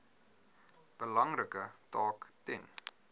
belangrike taak ten